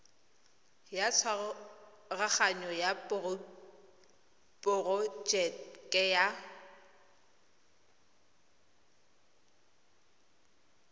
ya tshwaraganyo ya porojeke ya